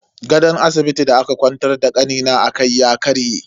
Gadon asibitin da aka kwantar da kanina akai ya karye.